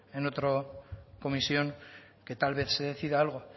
en otra comisión que tal vez se decida algo